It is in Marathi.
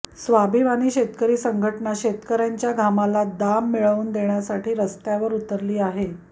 स्वाभिमानी शेतकरी संघटना शेतकऱयांच्या घामाला दाम मिळवून देण्यासाठी रस्त्यावर उतरली आहे